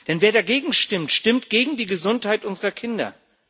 Denn wer dagegen stimmt, stimmt gegen die Gesundheit unserer Kinder.